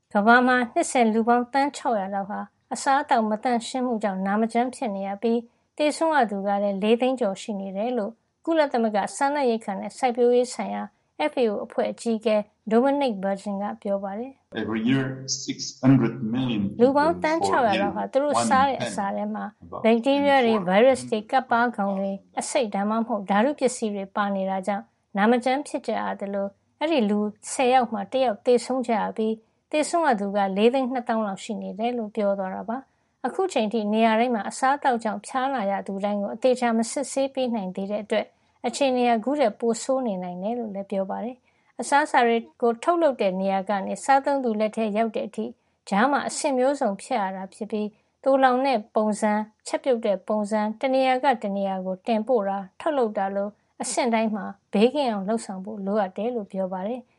ကမ္ဘာမှာ နှစ်စဉ် လူပေါင်း သန်း ၆၀၀ လောက်ဟာ အစားအသောက် မသန့်ရှင်းမှုကြောင့် နာမကျန်းဖြစ်နေရပြီး သေဆုံးရသူကလည်း ၄၀၀,၀၀၀ ကျော် ရှိနေတယ်လို့ ကုလသမဂ္ဂ စားနပ်ရိက္ခာနဲ့ စိုက်ပျိုးရေးဆိုင်ရာ FAO အဖွဲ့ အကြီးအကဲ Dominique Burgeon က ပြောပါတယ်။ “လူပေါင်း သန်း ၆၀၀ လောက်ဟာ သူတို့စားတဲ့ အစာထဲမှာ ဘက်တီးရီးယားတွေ၊ ဗိုင်းရပ်စ်တွေ၊ ကပ်ပါးကောင်တွေ အဆိပ် ဒါမှမဟုတ် ဓာတုပစ္စည်းတွေ ပါနေတာကြောင့် နာမကျန်း ဖြစ်ကြရသလို အဲဒီ လူ ၁၀ ယောက်မှာ တယောက် သေဆုံးကြရပြီး သေဆုံးရသူက ၄၂၀,၀၀၀ လောက် ရှိနေတယ်” လို့ ပြောသွားတာပါ။ အခုအချိန်အထိ နေရာတိုင်းမှာ အစားအသောက်ကြောင့် ဖျားနာရသူတိုင်းကို အသေအချာ မစစ်ဆေးနိုင်သေးတဲ့အတွက် အခြေအနေဟာ ခုထက် ပိုဆိုးနေနိုင်တယ်လို့လည်း ပြောပါတယ်။ အစားအစာတွေကို ထုတ်လုပ်တဲ့ နေရာကနေ စားသုံးသူလက်ထဲ ရောက်တဲ့အထိ ကြားထဲမှာ အဆင့်မျိုးစုံကို ဖြတ်ရတာဖြစ်ပြီး သိုလှောင်တဲ့ပုံစံ၊ ချက်ပြုတ်တဲ့ပုံစံ၊ တနေရာကနေ တနေရာကို တင်ပို့တာ၊ ထုတ်လုပ်တာလို အဆင့်တိုင်းမှာ ဘေးကင်းအောင် လုပ်ဆောင်ဖို့ လိုအပ်တယ်လို့လည်း ပြောပါတယ်။